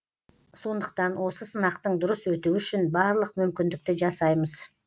сондықтан осы сынақтың дұрыс өтуі үшін барлық мүмкіндікті жасаймыз